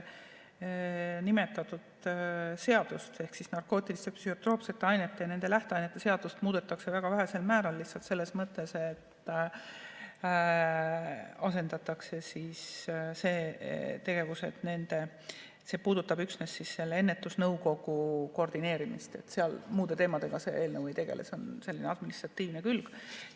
Nimetatud seadust ehk narkootiliste ja psühhotroopsete ainete ning nende lähteainete seadust muudetakse väga vähesel määral, lihtsalt selles mõttes, et see puudutab üksnes selle ennetusnõukogu koordineerimist, muude teemadega see eelnõu ei tegele, see on selline administratiivne külg.